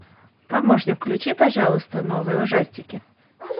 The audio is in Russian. помощник включи пожалуйста новые ужастики